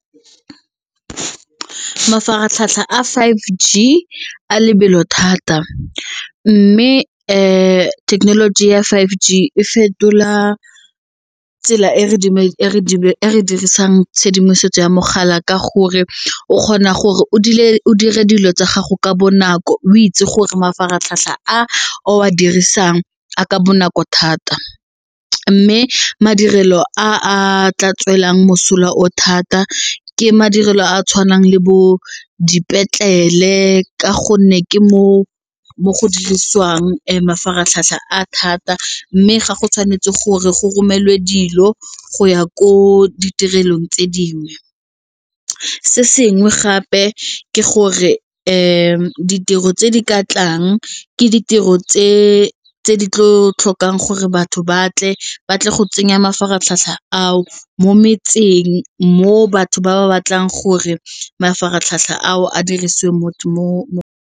Mafaratlhatlha a five G a lebelo thata mme thekenoloji ya five G e fetola tsela e re dirisang tshedimosetso ya mogala ka gore o kgona gore o dule o dire dilo tsa gago ka bonako o itse gore mafaratlhatlha a o a dirisang a ka bonako thata. Mme madirelo a tla tswelelang mosola o thata ke madirelo a a tshwanang le bo dipetlele ka gonne ke mo go dirisiwang mafaratlhatlha a thata mme ga go tshwanetse gore go romelwe dilo go ya ko ditirelong tse dingwe. Se sengwe gape ke gore ditiro tse di ka tlang ke ditiro tse di tlo tlhokang gore batho batle ba tle go tsenya mafaratlhatlha ao mo metseng mo batho ba ba batlang gore mafaratlhatlha ao a dirisiwe mo.